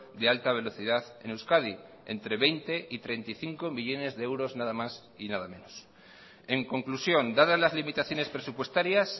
de alta velocidad en euskadi entre veinte y treinta y cinco millónes de euros nada más y nada menos en conclusión dadas las limitaciones presupuestarias